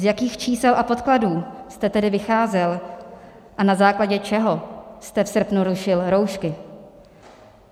Z jakých čísel a podkladů jste tedy vycházel a na základě čeho jste v srpnu rušil roušky?